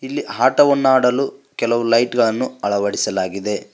ಇಲ್ಲಿ ಹಾಟವನ್ನ ಆಡಲು ಕೆಲವು ಲೈಟ್ ಗಳನ್ನು ಅಳವಡಿಸಲಾಗಿದೆ.